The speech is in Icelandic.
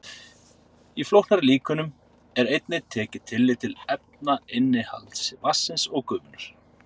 Í flóknari líkönum er einnig tekið tillit til efnainnihalds vatnsins og gufunnar.